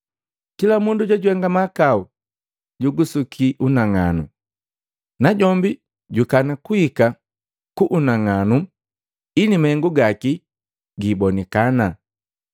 Kila mundu jojuhenga mahakau jugusuki unang'anu, najombi jukana kuhika ku unang'anu ili mahengu gaki giibonikana.